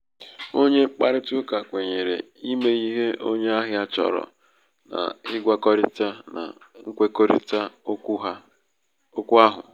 onye mkparịtaụka kwenyere imé ihe onye ahia chọrọ n'ịgwakọrịta na nkwekọrịta okwu ahụ.